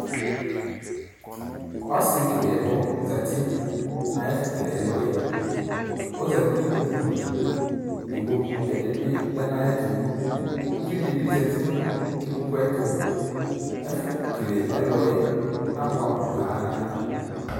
Ɔsi keke ɛlʋ zati nʋ ayiʋ ɛfu keke ɛlʋ yɛɔzati nʋ ikpoku liikpoku ɛdibi lɛnu ayiʋ ɛtuuvi dibi zati nʋ ikpoku yɛ ayiʋ ɛtuɛfʋ kele ɛlʋ yɛ abɔɛ amu paaa